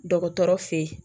Dɔgɔtɔrɔ feyi